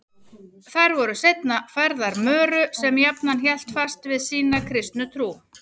Þær voru seinna færðar Möru sem jafnan hélt fast við sína kristnu trú.